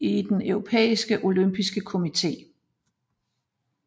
i den Europæiske olympiske komité